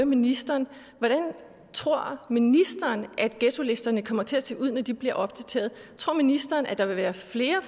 ministeren hvordan tror ministeren at ghettolisterne kommer til at se ud når de bliver opdateret tror ministeren at der vil være flere